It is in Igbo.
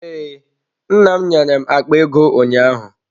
Ee, nna m nyere m akpa ego ụnyaahụ.